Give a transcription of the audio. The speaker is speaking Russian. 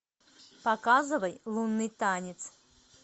показывай лунный танец